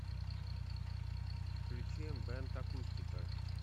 включи эмбэнд акустика